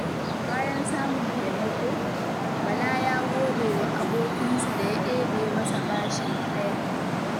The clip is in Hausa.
Bayan samun taimako, Bala ya gode wa abokinsa da ya ɗebe masa bashin haya.